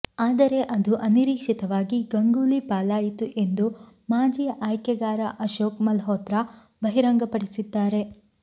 ಆದರೆ ಅದು ಅನಿರೀಕ್ಷಿತವಾಗಿ ಗಂಗೂಲಿ ಪಾಲಾಯಿತು ಎಂದು ಮಾಜಿ ಆಯ್ಕೆಗಾರ ಅಶೋಕ್ ಮಲ್ಹೋತ್ರಾ ಬಹಿರಂಗಪಡಿಸಿದ್ದಾರೆ